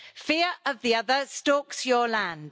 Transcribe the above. Fear of the other stalks your land.